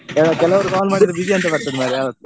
ಕೆಲವರು call ಮಾಡಿದ್ರೆ busy ಅಂತ ಬರ್ತದೆ ಮರ್ರೆ ಯಾವತ್ತು .